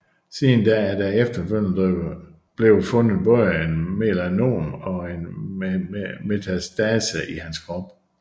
Siden da er der efterfølgende blevet fundet både et melanom og en metastase i hans krop